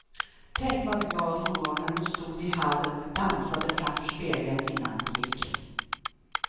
Tänk vad glad hon var när hon stod i hallen och dansade framför spegeln innan hon gick.